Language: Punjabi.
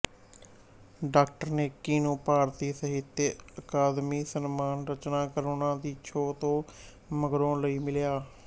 ਡਾ ਨੇਕੀ ਨੂੰ ਭਾਰਤੀ ਸਹਿਤ ਅਕਾਦਮੀ ਸਨਮਾਨ ਰਚਨਾ ਕਰੁਣਾ ਦੀ ਛੋਹ ਤੋਂ ਮਗਰੋਂ ਲਈ ਮਿਲਿਆ